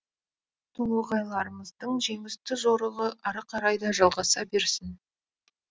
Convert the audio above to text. толоғайларымыздың жеңісті жорығы ары қарай да жалғаса берсін